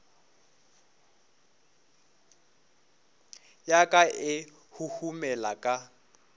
ya ka e huhumela ka